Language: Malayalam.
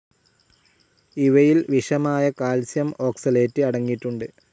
ഇവയിൽ വിഷമായ കാൽഷ്യം ഓക്സലേറ്റ് അടങ്ങിയിട്ടുണ്ട്.